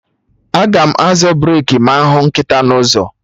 Aga m azọ breki ma mụ hụ nkịta n'ụzọ